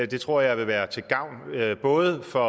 det tror jeg vil være til gavn både for